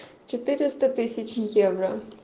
четыреста тысяч евро